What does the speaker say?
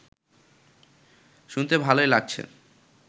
শুনতে ভালোই লাগছে